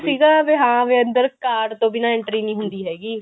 ਸੀਗਾ ਹਾਂ ਵੀ ਅੰਦਰ card ਤੋਂ ਬਿਨਾਂ entry ਨਹੀਂ ਹੁੰਦੀ ਹੈਗੀ